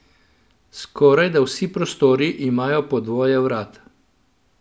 Skorajda vsi prostori imajo po dvoje vrat.